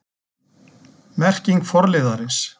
Merking forliðarins